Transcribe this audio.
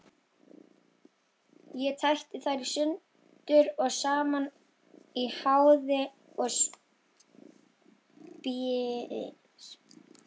Ég tæti þær sundur og saman í háði og spéi.